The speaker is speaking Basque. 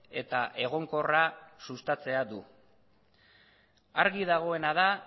eta egonkorra sustatzea du argi dagoena da